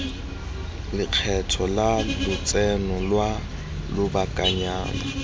lekgetho la lotseno lwa lobakanyana